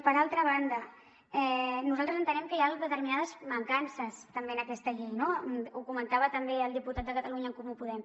per altra banda nosaltres entenem que hi ha determinades mancances també en aquesta llei no ho comentava també el diputat de catalunya en comú podem